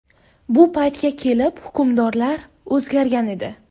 Bu paytga kelib hukmdorlar o‘zgargan edi.